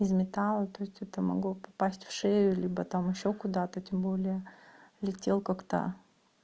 из металла то есть это могло попасть в шею либо там ещё куда-то тем более летел как-то